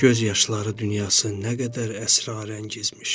Göz yaşları dünyası nə qədər əsrarəngizmiş.